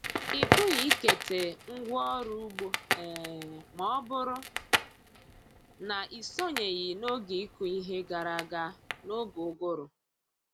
Ị pụghị ikete ngwa ọrụ ugbo um ma ọ bụrụ na ị sonyeghi n’oge ịkụ ihe gara aga n’oge uguru.